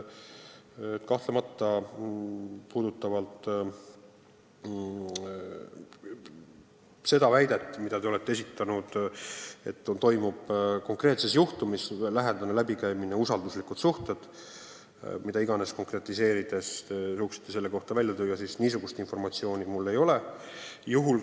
Mis puutub teie väitesse, et konkreetse juhtumi puhul valitsevad kellegi vahel usalduslikud suhted – mida iganes te seda konkretiseerides ka ei suudaks välja tuua –, siis niisugust informatsiooni mul ei ole.